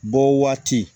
Bɔ waati